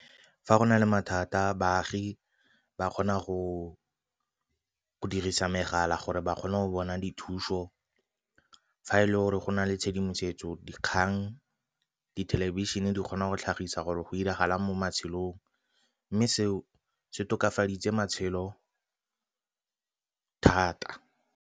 Fa go na le mathata baagi ba kgona go dirisa megala gore ba kgone go bona dithuso. Fa e le gore go na le tshedimosetso kgang dithelebišene di kgona go tlhagisa gore go diragala mo matshelong, mme seo se tokafaditse matshelo thata.